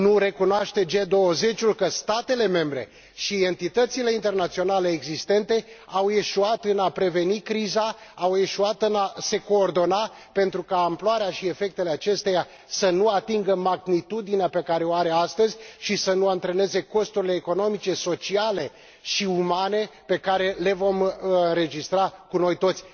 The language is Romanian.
Nu recunoaște G20 că statele membre și entitățile internaționale existente au eșuat în a preveni criza, au eșuat în a se coordona pentru ca amploarea și efectele acesteia să nu atingă magnitudinea pe care o are astăzi și să nu antreneze costurile economice, sociale și umane pe care le vom înregistra noi toți?